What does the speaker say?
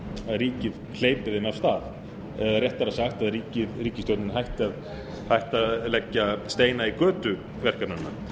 ríkið hleypi þeim af stað eða réttara sagt að ríkisstjórnin hætti að leggja steina í götu verkefnanna